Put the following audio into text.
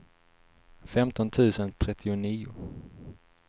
femton tusen trettionio